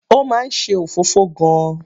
Ó máa ń ṣe òfófó gan-an.